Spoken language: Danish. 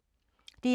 DR2